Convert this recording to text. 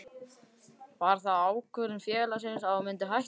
Var það ákvörðun félagsins að þú myndir hætta?